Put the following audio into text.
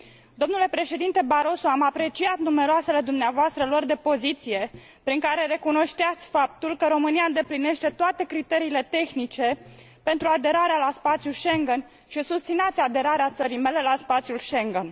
Domnule președinte Barroso, am apreciat numeroasele dumneavoastră luări de poziție, prin care recunoșteați faptul că România îndeplinește toate criteriile tehnice pentru aderarea la spațiul Schengen și susțineați aderarea țării mele la spațiul Schengen.